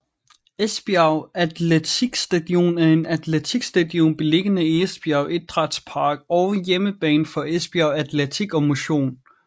Esbjerg Atletikstadion er et atletikstadion beliggende i Esbjerg Idrætspark og hjemmebane for Esbjerg Atletik og Motion